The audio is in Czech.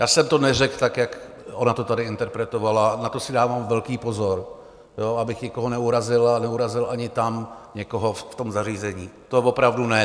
Já jsem to neřekl tak, jak ona to tady interpretovala, na to si dávám velký pozor, abych nikoho neurazil a neurazil ani tam někoho v tom zařízení, to opravdu ne.